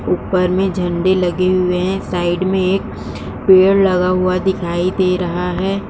ऊपर में झंडे लगे हुए हैं। साइड में एक पेड़ लगा हुआ दिखाई दे रहा है।